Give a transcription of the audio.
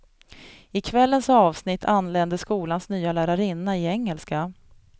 I kvällens avsnitt anländer skolans nya lärarinna i engelska.